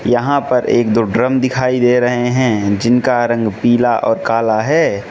यहां पर एक दो ड्रम दिखाई दे रहे है जिनका रंग पीला और काला है।